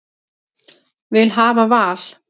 Vil hafa val